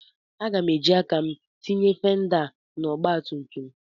Aga m eji aka m tinye fenda a na ọgbatumtum.